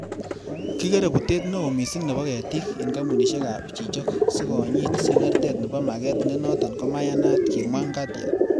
'Kigeree butet neo missing nebo ketik en kompunisiek ab chichok sikonyit sengertet nebo maget, ne noton komayamat,'' kimwa Ngatia